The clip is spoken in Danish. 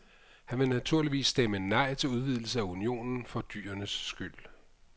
Han vil naturligvis stemme nej til udvidelse af unionen for dyrenes skyld.